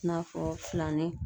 I n'a fɔ filanin